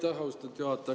Aitäh, austatud juhataja!